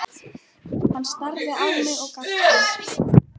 Hann starði á mig og gapti.